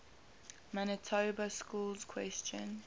manitoba schools question